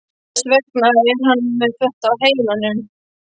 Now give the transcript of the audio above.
Þess vegna er hann með þetta á heilanum.